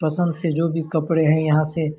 पसंद से जो भी कपड़े है यहाँ से--